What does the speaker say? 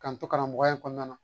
K'an to karamɔgɔ in kɔnɔna na